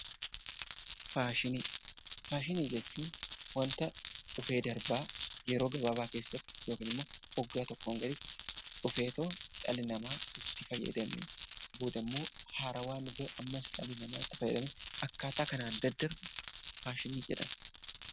Faashinii Faashinii jechuun wanta dhufee darbaa yeroo gabaabaa keessatti yookiin immoo waggaa tokkoon gaditti dhufeetoo dhalli namaa itti fayyadamee, boodammoo haarawaan dhufee ammas dhalli namaa itti fayyadamee akkaataa kanaan daddarbu 'Faashinii' jedhama.